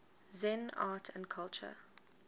zen art and culture